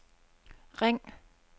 ring